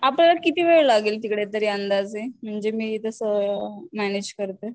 आपल्याला किती वेळ लागेल तिकडे तरी अंदाजे म्हणजे मी तस मॅनेज करते.